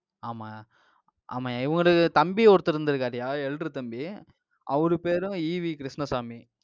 ஆமா ஆமாய்யா, இவரு தம்பி ஒருத்தர் இருந்திருக்காருய்யா. elder தம்பி. ஹம் அவரு பேரும் EV கிருஷ்ணசாமி.